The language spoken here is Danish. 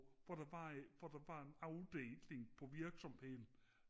hvor der var hvor der var en afdeling på virksomheden